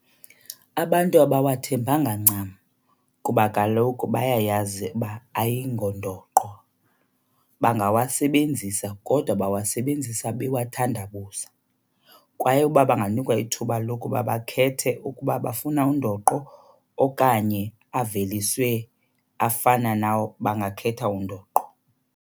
Abantu abawathembanga ncam kuba kaloku bayayazi uba ayingongondoqo. Bangawasebenzisa kodwa bawasebenzisa bewathandabuza. Kwaye uba banganikwa ithuba lokuba bakhethe ukuba bafuna undoqo okanye aveliswe afana nawo, bangakhetha undoqo.